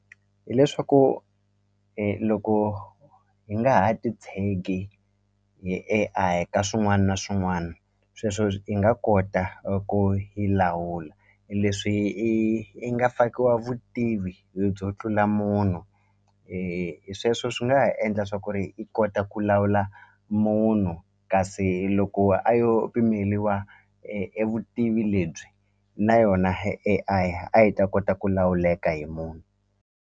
Hi leswaku loko hi nga ha ti tshegi hi A_I ka swin'wani na swin'wani sweswo hi nga kota ku yi lawula leswi i i nga fakiwa vutivi le byo tlula munhu hi sweswo swi nga ha endla swa ku ri i kota ku lawula munhu kasi loko a yo pimeliwa e vutivi lebyi na yona A_I a yi ta kota ku lawuleka hi munhu.